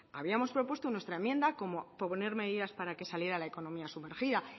habíamos propuesto nuestra enmienda como poner medidas para que saliera la economía sumergida